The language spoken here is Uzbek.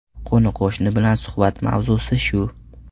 Qo‘ni-qo‘shni bilan suhbat mavzusi shu.